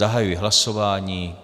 Zahajuji hlasování.